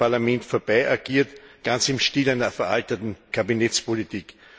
Er hat am Parlament vorbei agiert, ganz im Stil einer veralteten Kabinettspolitik.